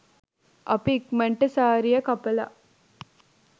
අපි ඉක්මනට සාරිය කපලා